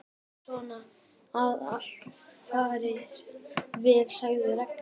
Við verðum að vona að allt fari vel sagði Ragnhildur.